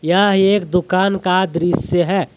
यह एक दुकान का दृश्य है।